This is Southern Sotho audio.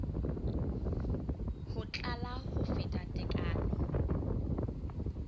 ho tlala ho feta tekano